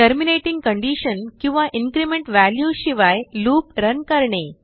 terminating conditionकिंवाincrement valueशिवाय loop run करणे